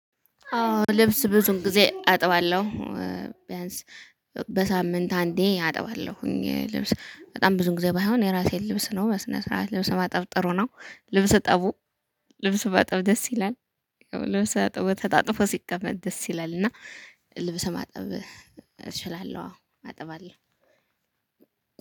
አዎ ልብስ ብዙ ጊዜ አጥባለሁ ቢያንስ በሳምንት አንዴ አጥባለሁ። ልብስ በጣም ብዙ ጊዜ ባይሆን የራሴን ልብስ ነው በስነ ስርዓት ልብስ ማጠብ ጥሩ ነው። ልብስ እጠቡ። ልብስ ማጠብ ደስ ይላል። ልብስ ታጥቦ ተጣጥፎ ሲቀመጥ ደስ ይላል እና ልብስ ማጠብ እችላለሁ አዎ አጥባለሁ።